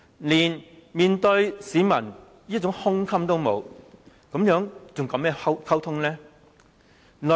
連面對市民的胸襟也沒有，又如何談溝通呢？